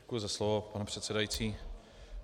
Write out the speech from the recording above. Děkuji za slovo, pane předsedající.